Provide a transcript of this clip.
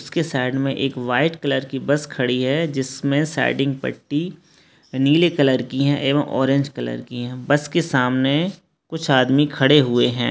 इसके साइड में एक वाइट कलर की बस खड़ी है जिस में साइडिंग पट्टी नीले कलर की एवम ऑरेंज कलर है। बस के सामने कुछ आदमी खड़े हुए है।